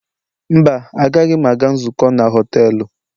Mba, agaghị m aga nzukọ na họtelu